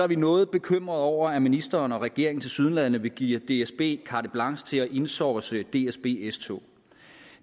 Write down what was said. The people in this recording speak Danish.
vi noget bekymrede over at ministeren og regeringen tilsyneladende vil give dsb carte blanche til at insource dsb s tog